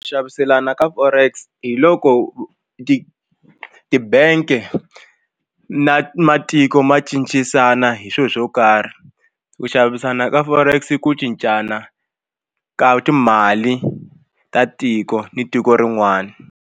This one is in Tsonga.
Xaviselana ka Forex hi loko ti ti-bank na matiko ma cincisana hi swilo swo karhi ku xavisana ka Forex i ku cincana ka timali ta tiko ni tiko rin'wana.